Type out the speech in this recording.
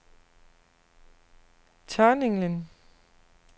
Tørninglen